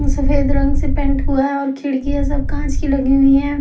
सफेद रंग से पेंट हुआ है और खिड़कि ये सब कांच की लगी हुई हैं।